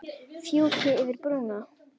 Fjúki yfir brúna.